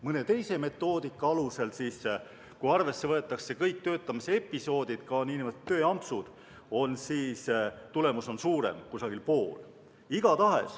Mõne teise metoodika alusel, kui arvesse võetakse kõik töötamisepisoodid, ka nn tööampsud, on tulemus suurem, umbes pool.